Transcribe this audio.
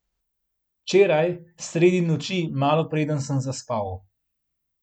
Včeraj, sredi noči, malo preden sem zaspal.